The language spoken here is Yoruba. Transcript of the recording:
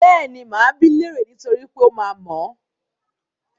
Bẹ́ẹ̀ni, máa bi í léèrè niítorí pé ó máa mọ̀ ọ́n.